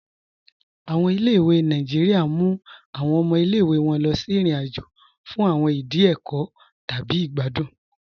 Awọn ilẹ̀-ìwé Nàìjíríà mú awọn ọmọ ilẹ̀-ìwé wọn lọ sí irin-àjò fún awọn ìdí ẹkọ́ tabi igbàdùn.